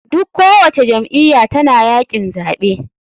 Duk ko wace jam iyya tana yakin zaɓe.